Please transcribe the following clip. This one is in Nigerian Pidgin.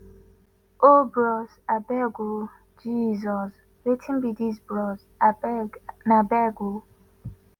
oh bros abeg oh jesus wetin be dis bros abeg na abeg